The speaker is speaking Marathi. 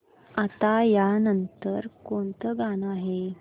आता या नंतर कोणतं गाणं आहे